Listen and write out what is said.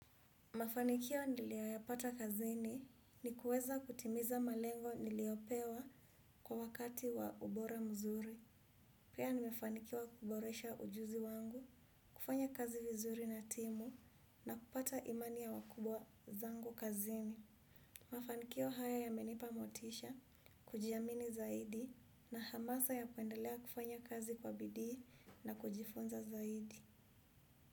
Mafanikio niliyoyapata kazini ni kuweza kutimiza malengo niliyopewa kwa wakati wa ubora mzuri. Pia nimefanikiwa kuboresha ujuzi wangu, kufanya kazi vizuri na timu na kupata imani ya wakubwa zangu kazini. Mafanikio haya yamenipa motisha, kujiamini zaidi na hamasa ya kuendelea kufanya kazi kwa bidii na kujifunza zaidi.